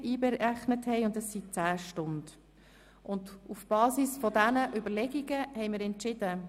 Auf der Basis dieser Überlegungen haben wir Folgendes entschieden: